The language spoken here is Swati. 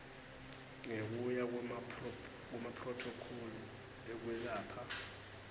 ngekuya kwemaphrothokholi ekwelapha